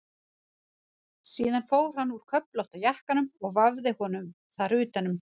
Síðan fór hann úr köflótta jakkanum og vafði honum þar utan um.